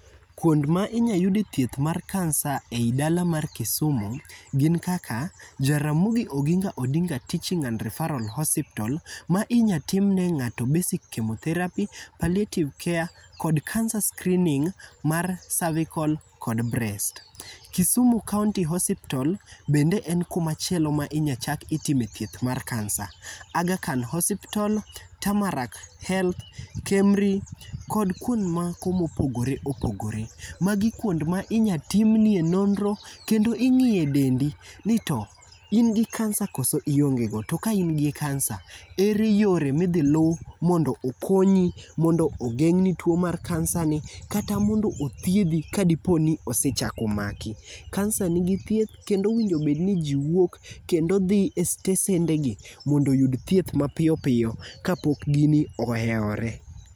Kuonde ma inyalo yudie thieth mar cancer ei dala mar Kisumu gin kaka Jaramogo Oginga Odinga Teching and Referral Hospital ma inyalo timnie ng'ato basic chemotherapy, paletive care kod cancer screening mar cervical kod breast. Kisumu County Hospital bende en kuma chielo ma inyal chak itime thieth mar cancer. Aghakhan Hospital, Tamal Health kod KEMRI kod kuonde mopogore opogore. Magi kuonde ma inyalo timie nonro kendo ing'iye dendi nito in gi kansa koso iongego to ka in gi kansa, ere yore ma idhi lu mondookonyi mondo ogeng' ni tuo mar kansa ni kata mondo othiedhi kadipo ni osechako maki. Kansa nigi thieth kendo owinjo bed niji wuok kendo dhi e sitesendegi mondo oyudbthieth mapiyo piyo kaok gini ohewore.